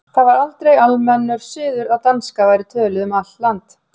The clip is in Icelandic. Það var aldrei almennur siður að danska væri töluð um allt land.